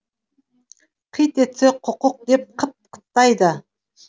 қит етсе құқық деп қыт қыттайды